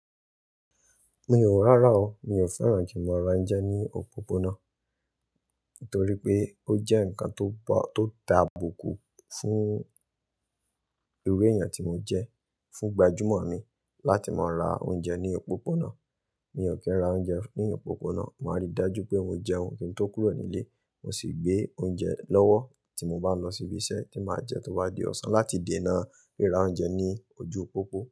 Rárá o, mi ò fẹ́ràn jímọ̀ra oúnjẹ ní òpópónà. Nítorí pé ó jẹ́ ǹkan tó ta bùkù fún iru èèyàn tí mo jẹ́, fún gbajúmọ̀ mi láti máa ra oúnjẹ ní òpópónà. Mi ò kí ń ra oúnjẹ ní òpópónà, màá rí i dájú pé mo jẹ ohun kí n tó kúrò nílé, mo sì gbé oúnjẹ lọ́wọ́ tí mo bá lọ sí ibi iṣẹ́ tí màá jẹ tó bá di ọ̀sán láti dènà rira oúnjẹ ní ojú pópó.